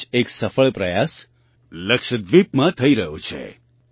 આવો જ એક સફળ પ્રયાસ લક્ષદ્વીપમાં થઈ રહ્યો છે